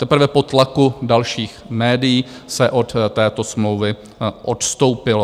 Teprve po tlaku dalších médií se od této smlouvy odstoupilo.